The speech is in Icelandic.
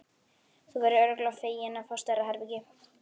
Þú verður örugglega feginn að fá stærra herbergi.